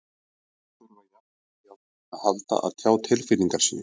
Þeir þurfa jafn mikið á því að halda að tjá tilfinningar sínar.